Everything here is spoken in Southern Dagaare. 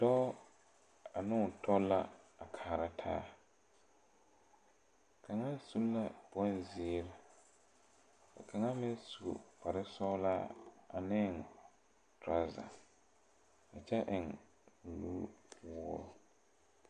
Dɔɔ ane o tɔ la a kaara taa kaŋa su la boŋ zeere ka kaŋa meŋ su kpare sɔglaa ane tɔrɔzɛ a kyɛ eŋ nu woore.